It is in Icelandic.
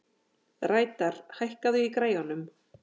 Reidar, hækkaðu í græjunum.